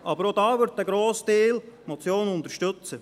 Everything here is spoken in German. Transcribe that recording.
Aber auch da wird der grosse Teil die Motion unterstützen.